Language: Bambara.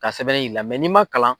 Ka sɛbɛn yiri la, ni ma kalan.